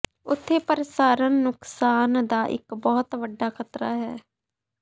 ਉੱਥੇ ਪ੍ਰਸਾਰਣ ਨੁਕਸਾਨ ਦਾ ਇੱਕ ਬਹੁਤ ਵੱਡਾ ਖਤਰਾ ਹੈ